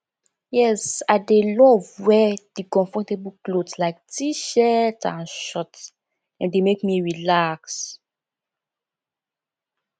yes i dey love wear di comfortable clothes like tshirt and shorts dem dey make me relax